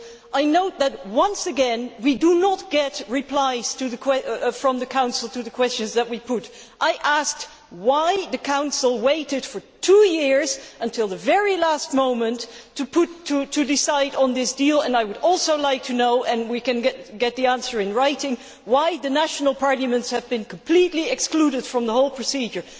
I note that once again we are not getting replies from the Council to the questions that we put. I asked why the Council waited for two years, until the very last moment, to decide on this deal, and I would also like to know and we can get the answer in writing why the national parliaments have been completely excluded from the whole procedure.